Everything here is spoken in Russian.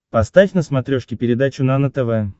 поставь на смотрешке передачу нано тв